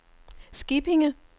Skippinge